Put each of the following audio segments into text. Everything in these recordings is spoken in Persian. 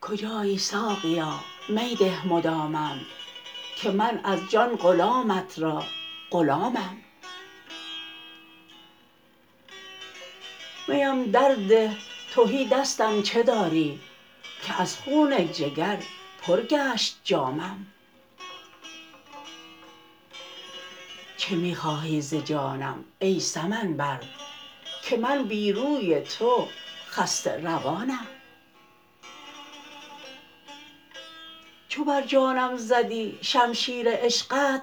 کجایی ساقیا می ده مدامم که من از جان غلامت را غلامم میم در ده تهی دستم چه داری که از خون جگر پر گشت جامم چه می خواهی ز جانم ای سمن بر که من بی روی تو خسته روانم چو بر جانم زدی شمشیر عشقت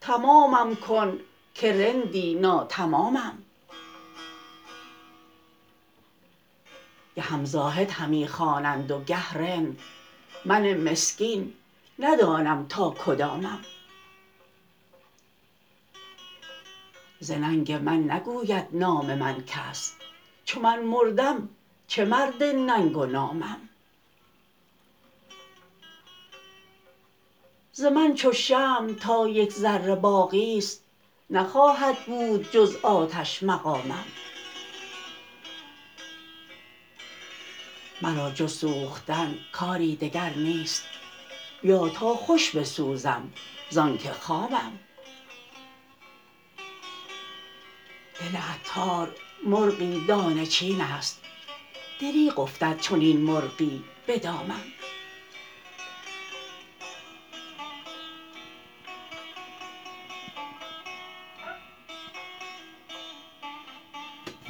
تمامم کن که رندی ناتمامم گهم زاهد همی خوانند و گه رند من مسکین ندانم تا کدامم ز ننگ من نگوید نام من کس چو من مردم چه مرد ننگ و نامم ز من چو شمع تا یک ذره باقی است نخواهد بود جز آتش مقامم مرا جز سوختن کاری دگر نیست بیا تا خوش بسوزم زانکه خامم دل عطار مرغی دانه چین است دریغ افتد چنین مرغی به دامم